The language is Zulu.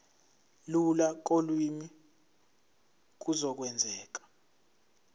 lula kolimi kuzokwenzeka